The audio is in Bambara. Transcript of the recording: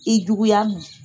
I juguya ma